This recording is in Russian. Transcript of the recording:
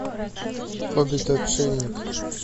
хоббит отшельник